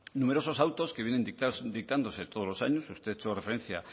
numerosos autos que vienen dictándose todos los años usted ha hecho referencia